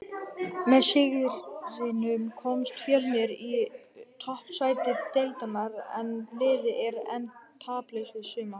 Með sigrinum komst Fjölnir í toppsæti deildarinnar en liðið er enn taplaust í sumar.